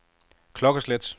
klokkeslæt